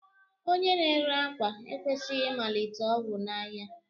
Onye n'ére akwa ekwesighi imalite ogwu nʻáhia.